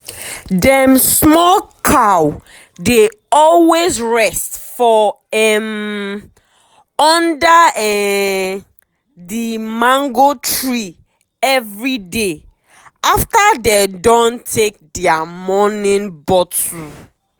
dem small cow dey always rest for um under um the mango tree everyday after dey don take dia morning bottle.